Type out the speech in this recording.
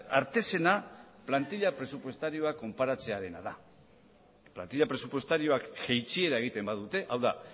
artezena plantila presupuestarioa konparatzearena da plantila presupuestarioak jaitsiera egiten badute hau da